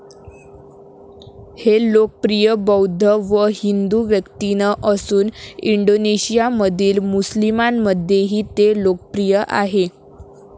हे लोकप्रिय बौद्ध व हिंदू व्यक्तीनं असून इंडोनेशियामधील मुस्लिमांमध्येही ते लोकप्रिय आहे.